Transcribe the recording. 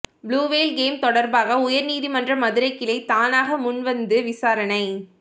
Blue Whale game தொடர்பாக உயர்நீதிமன்ற மதுரை கிளை தானாக முன் வந்து விசாரணை